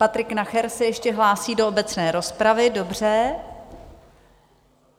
Patrik Nacher se ještě hlásí do obecné rozpravy, dobře.